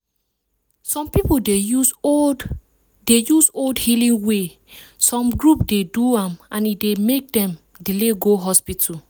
some people dey use old dey use old healing wey some group dey do and e dey make dem delay go hospital.